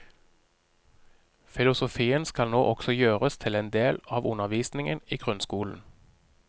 Filosofien skal nå også gjøres til en del av undervisningen i grunnskolen.